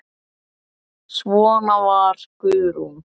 Svona var Guðrún.